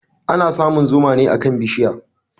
Ana samun zuma ne akan bishiya.